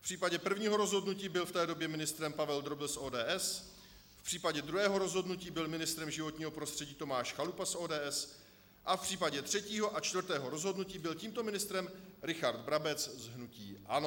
V případě prvního rozhodnutí byl v té době ministrem Pavel Drobil z ODS, v případě druhého rozhodnutí byl ministrem životního prostředí Tomáš Chalupa z ODS a v případě třetího a čtvrtého rozhodnutí byl tímto ministrem Richard Brabec z hnutí ANO.